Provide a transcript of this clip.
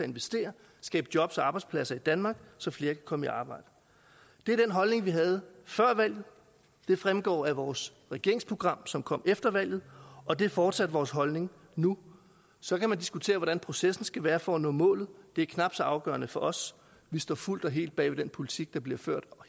investere skabe jobs og arbejdspladser i danmark så flere kan komme i arbejde det er den holdning vi havde før valget det fremgår af vores regeringsprogram som kom efter valget og det er fortsat vores holdning nu så kan man diskutere hvordan processen skal være for at nå målet det er knap så afgørende for os vi står fuldt og helt bag den politik der bliver ført